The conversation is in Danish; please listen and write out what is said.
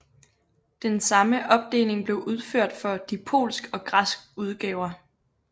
Den samme opdeling blev udført for de polsk og græsk udgaver